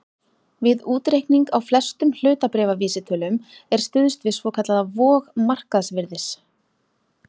Við útreikning á flestum hlutabréfavísitölum er stuðst við svokallaða vog markaðsvirðis.